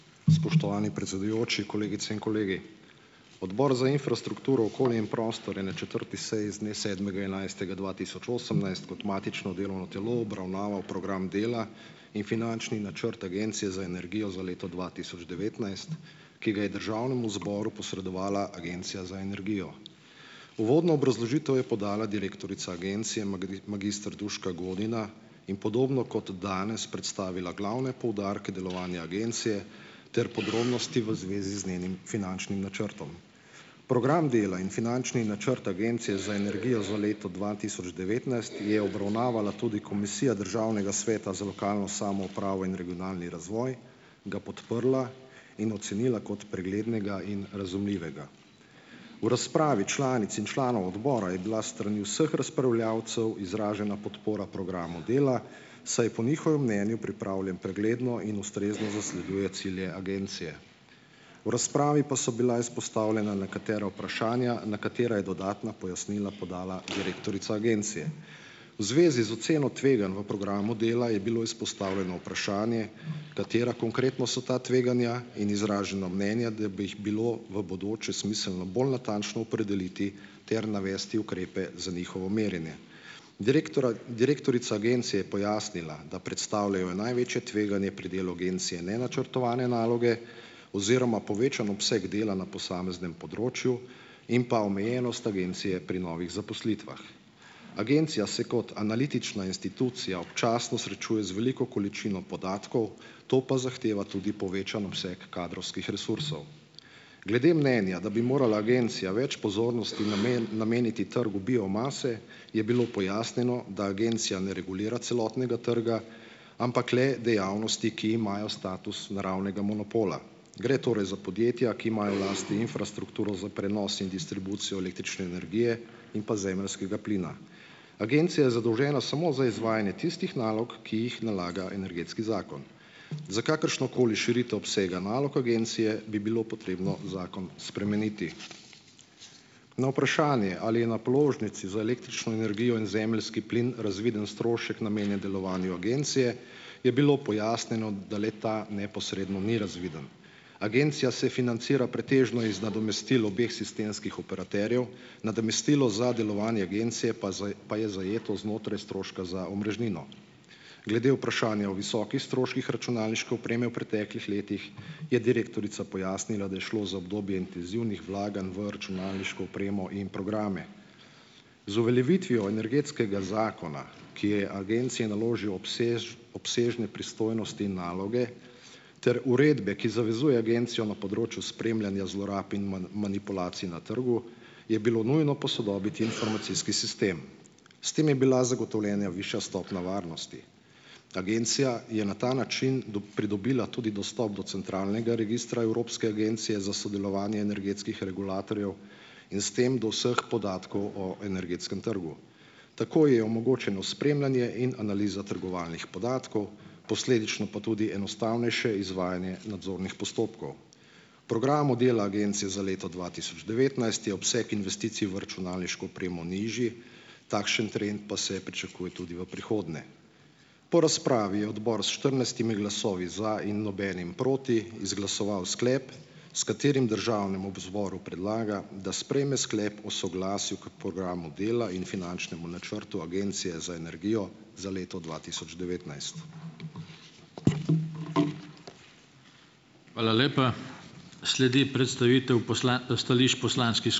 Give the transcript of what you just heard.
Spoštovani predsedujoči, kolegice in kolegi. Odbor za infrastrukturo, okolje in prostor je na četrti seji z dne sedmega enajstega dva tisoč osemnajst kot matično delovno telo obravnaval program dela in finančni načrt Agencije za energijo za leto dva tisoč devetnajst, ki ga je Državnemu zboru posredovala Agencija za energijo. Uvodno obrazložitev je podala direktorica agencije, magister Duška Godina in podobno kot danes predstavila glavne poudarke delovanja agencije ter podrobnosti v zvezi z njenim finančnim načrtom. Program dela in finančni načrt Agencije za energijo za leto dva tisoč devetnajst je obravnavala tudi Komisija Državnega sveta za lokalno samoupravo in regionalni razvoj, ga podprla in ocenila kot preglednega in razumljivega. V razpravi članic in članov odbora je bila s strani vseh razpravljavcev izražena podpora programu dela, saj je po njihovem mnenju pripravljen pregledno in ustrezno zasleduje cilje agencije. V razpravi pa so bila izpostavljena nekatera vprašanja, na katera je dodatna pojasnila podala direktorica agencije. V zvezi z oceno tveganj v programu dela je bilo izpostavljeno vprašanje, katera konkretno so ta tveganja, in izraženo mnenje, da bi jih bilo v bodoče smiselno bolj natančno opredeliti ter navesti ukrepe za njihovo merjenje. direktorica agencije pojasnila, da predstavljajo največje tveganje pri delu agencije nenačrtovane naloge oziroma povečan obseg dela na posameznem področju in pa omejenost agencije pri novih zaposlitvah. Agencija se kot analitična institucija občasno srečuje z veliko količino podatkov, to pa zahteva tudi povečan obseg kadrovskih resursov. Glede mnenja, da bi morala agencija več pozornosti nameniti trgu biomase, je bilo pojasnjeno, da agencija ne regulira celotnega trga, ampak le dejavnosti, ki imajo status naravnega monopola. Gre torej za podjetja, ki imajo v lasti infrastrukturo za prenos in distribucijo električne energije in pa zemeljskega plina. Agencija je zadolžena samo za izvajanje tistih nalog, ki jih nalaga Energetski zakon. Za kakršnokoli širitev obsega nalog agencije bi bilo potrebno zakon spremeniti. Na vprašanje, ali je na položnici za električno energijo in zemeljski plin razviden strošek, namenjen delovanju agencije, je bilo pojasnjeno, da le-ta neposredno ni razviden. Agencija se financira pretežno iz nadomestil obeh sistemskih operaterjev, nadomestilo za delovanje agencije pa pa je zajeto znotraj stroška za omrežnino. Glede vprašanja o visokih stroških računalniške opreme v preteklih letih, je direktorica pojasnila, da je šlo za obdobje intenzivnih vlaganj v računalniško opremo in programe. Z uveljavitvijo Energetskega zakona, ki je agenciji naložil obsežne pristojnosti in naloge ter uredbe, ki zavezuje agencijo na področju spremljanja zlorab in manipulacij na trgu, je bilo nujno posodobiti informacijski sistem. S tem je bila zagotovljena višja stopnja varnosti. Agencija je na ta način pridobila tudi dostop do centralnega registra Evropske agencije za sodelovanje energetskih regulatorjev in s tem do vseh podatkov o energetskem trgu. Tako je omogočeno spremljanje in analiza trgovalnih podatkov, posledično pa tudi enostavnejše izvajanje nadzornih postopkov. Program modela agencije za leto dva tisoč devetnajst je obseg investicij v računalniško opremo nižji, takšen trend pa se pričakuje tudi v prihodnje. Po razpravi je odbor s štirinajstimi glasovi za in nobenim proti izglasoval sklep, s katerim državnemu zboru predlaga, da sprejme sklep o soglasju k programu dela in finančnemu načrtu Agencije za energijo za leto dva tisoč devetnajst.